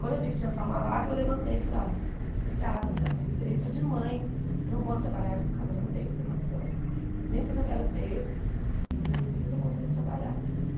Quando eu vi que tinha só uma vaga, eu levantei e falei, olha, obrigada né, a minha experiência é de mãe, não vou trabalhar de educadora, não tenho formação, nem sei se eu quero ter, né não sei se eu consigo trabalhar.